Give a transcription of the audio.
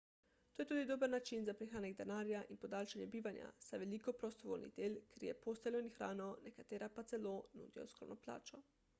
to je tudi dober način za prihranek denarja in podaljšanje bivanja saj veliko prostovoljnih del krije posteljo in hrano nekatera pa celo nudijo skromno plačo